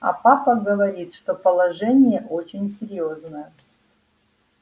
а папа говорит что положение очень серьёзное